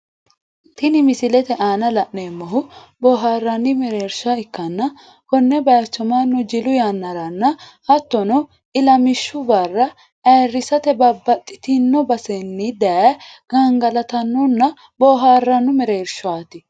Tini misilete aanna la'neemohu booharanni mereersha ikkanna Kone bayicho Manu jilu yanaranna hattono ilamishu Barra ayirisate babbaxitino basenni daye gangalatanonna boohaarano mereershaati.